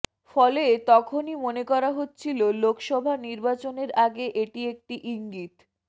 ফলে তখনই মনে করা হচ্ছিল লোকসভা নির্বাচনের আগে এটি একটি ইঙ্গিত